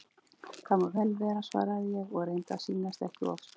Það má vel vera svaraði ég og reyndi að sýnast ekki of spennt.